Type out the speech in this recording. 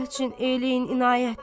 Allah üçün eyləyin inayət!